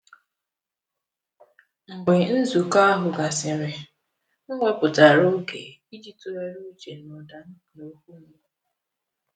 Mgbe nzukọ ahụ gasịrị, m wepụtara oge iji tụgharịa uche n’ụda m na okwu m.